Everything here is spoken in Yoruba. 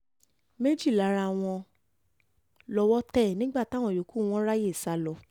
méjì lára wọn wọn lọ́wọ́ tẹ̀ nígbà táwọn yòókù wọn ráàyè sá lọ